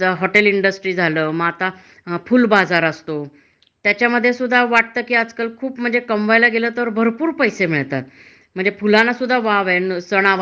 किवा मग आता आजकाल पद्धतच हे पुष्पगुच्छ म्हणजे अगदी काय ते चालूच असतात. छोट्या छोट्या समारंभाना सुद्धा पुष्प हे देतात, त्याच्यामुळे ते काय होतंय.